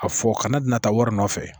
A fɔ kana na taa wari nɔfɛ